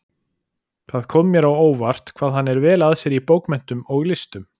Það kom mér á óvart, hvað hann er vel að sér í bókmenntum og listum